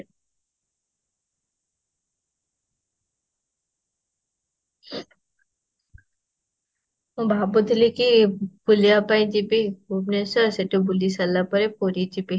ମୁଁ ଭାବୁ ଥିଲି କି ବୁଲିବା ପାଇଁ ଯିବି ଭୁବନେଶ୍ୱର ସେଠୁ ବୁଲି ସାରିଲା ପରେ ପୁରୀ ଯିବି